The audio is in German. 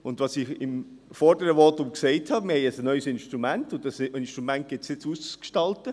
Wie ich im vorherigen Votum gesagt habe, haben wir ein neues Instrument, und dieses Instrument gilt es jetzt auszugestalten.